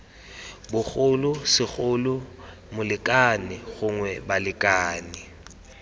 bogolo segolo molekane gongwe balekane